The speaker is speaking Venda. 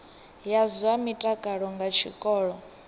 ya zwa mutakalo nga tshikolo